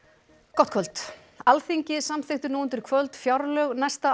gott kvöld Alþingi samþykkti nú undir kvöld fjárlög næsta